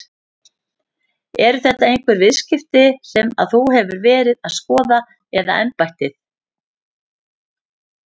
Eru þetta einhver viðskipti sem að þú hefur verið að skoða eða embættið?